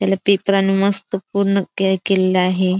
त्याला पेपरानी मस्त पूर्ण क्लियर केलेलं आहेत.